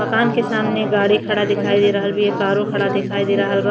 माकान के सामने गाड़ी खड़ा दिखाई दे रहल बी। कारो खड़ा दिखाई दे रहल बा।